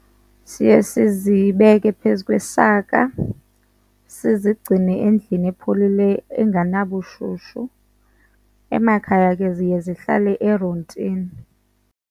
Siye sizibeke phezu kwesaka, sizigcine endlini epholile engenabushushu. Emakhaya ke ziye zihlale erontini.